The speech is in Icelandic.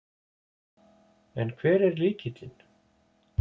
En hver er lykillinn?